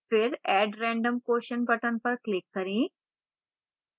फिर add random question button पर click करें